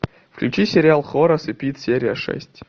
включи сериал хорас и пит серия шесть